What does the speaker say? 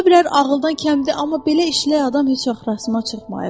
Ola bilər ağıldan kəmdir, amma belə işlək adam heç vaxt rastıma çıxmayıb.